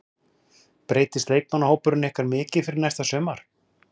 Breytist leikmannahópur ykkar mikið fyrir næsta sumar?